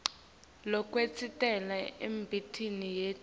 lokwenteka emtimbeni yetfu